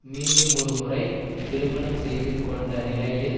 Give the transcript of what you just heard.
மீண்டுமொரு முறை திருமணம் செய்து கொண்ட நிலையில்